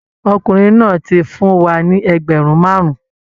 Ọkùnrin náà ti fún wa ní ẹgbẹ̀rún márùn-ún